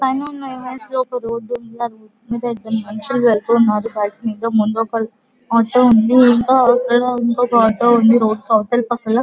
పైన ఉన్న ఇమేజ్ లో ఒక రోడ్ ఉంది ఆ రోడ్ మీద ఇద్దరు మనుషులు వెళ్తూ ఉన్నారు బైక్ మీద ముందట ఒక ఆటో ఉంది ఇక్కడఇంకా ఇంకొక ఆటో ఉంది రోడ్ అవతల పకన--